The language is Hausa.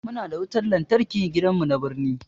Muna da wutan lantarki gidan mu na birni